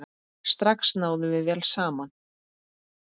Strax náðum við vel saman.